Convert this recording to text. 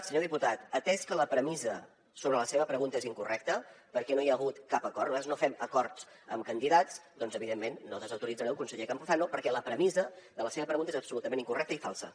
senyor diputat atès que la premissa sobre la seva pregunta és incorrecta perquè no hi ha hagut cap acord nosaltres no fem acords amb candidats doncs evidentment no desautoritzaré el conseller campuzano perquè la premissa de la seva pregunta és absolutament incorrecta i falsa